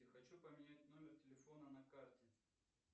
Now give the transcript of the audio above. хочу поменять номер телефона на карте